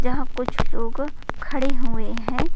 जहाँ कुछ लोग खड़े हुए हैं।